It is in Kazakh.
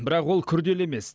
бірақ ол күрделі емес